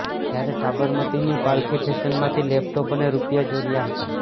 જ્યારે સાબરમતીની પાલખી ફેશનમાંથી લેપટોપ અને રૂપિયા ચોર્યા હતા